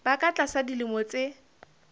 ba ka tlasa dilemo tse